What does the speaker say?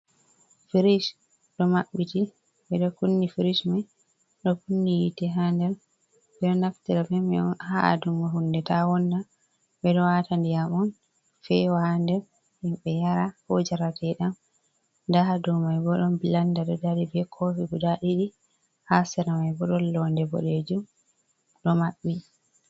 Firish ɗo kunni, firish mai ɗo kunni yite, ha nder. Ɓeɗo naftira bemai on ha adunugo hunde ta wonna, ɓeɗo wata ndiyam on fewa ha nder himɓe yara, ko jarateɗam nda hadou maiboo blanda ɗo dari, be kofi guda ɗiɗi, ha sera mai bo don loode bodejuum ɗo maɓɓti.